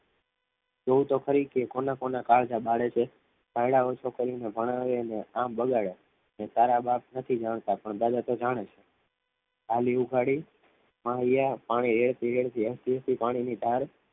જોવું તો ખરી કે કોના કોના કાળજા બાળે છે પારણા ઓછા કરીને ભણાવ્યાં પણ આવી અને કામ બગાડે અને તારા બાપ નથી જાણતા પણ દાદા તો જાણે છે આજે ઉગાડી માં હૈયા પાણી વેડફી વેડફી પાણીની ધાર